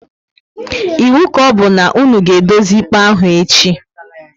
Ịwu ka ọbụ na-unu ga edozi ikpe ahụ echi!